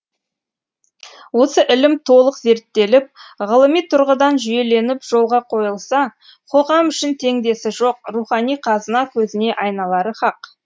осы ілім толық зерттеліп ғылыми тұрғыдан жүйеленіп жолға қойылса қоғам үшін теңдесі жоқ рухани қазына көзіне айналары хақ